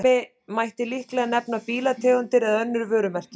Sem dæmi mætti líklega nefna bílategundir eða önnur vörumerki.